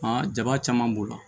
jaba caman b'o la